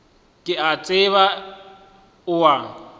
ke a tseba o a